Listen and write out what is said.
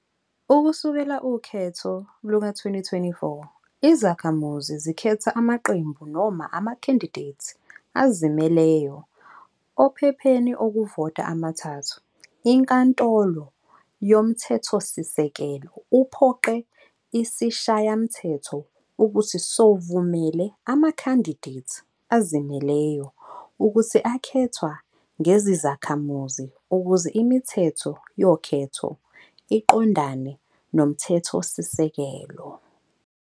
Ukusukela ukhetho luka-2024, izakhamuzi zikhetha amaqembu noma amakhandidethi azimeleyo ophepheni okuvota amathathu. Inkantolo yoMthethosisekelo uphoqe ISishayamthetho ukuthi sovumele amakhandidethi azimeleyo ukuthi akhethwa ngezizakhamuzi ukuze imithetho yokhetho iqondane nomthethosisekelo.